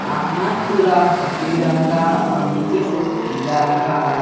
आसमान पुरा सफेद रंग का और नीचे से पीला रंग का है।